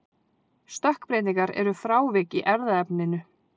stökkbreytingar eru frávik í erfðaefninu